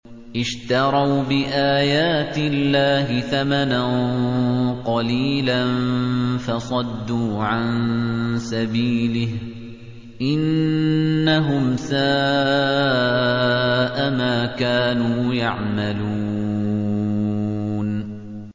اشْتَرَوْا بِآيَاتِ اللَّهِ ثَمَنًا قَلِيلًا فَصَدُّوا عَن سَبِيلِهِ ۚ إِنَّهُمْ سَاءَ مَا كَانُوا يَعْمَلُونَ